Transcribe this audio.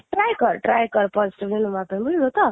try କର try କର positive ହବ ପାଇଁ ବୁଝିଲୁ ତ,